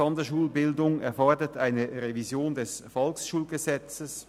Sonderschulbildung erfordert eine Revision des VSG.